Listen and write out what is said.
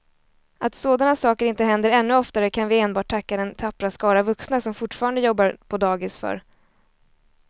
Att sådana saker inte händer ännu oftare kan vi enbart tacka den tappra skara vuxna som fortfarande jobbar på dagis för.